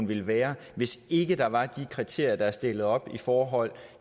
ville være hvis ikke der var de kriterier der er stillet op i forhold